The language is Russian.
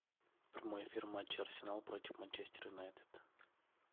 прямой эфир матча арсенал против манчестер юнайтед